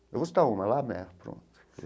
Eu vou citar uma, La Mer, pronto.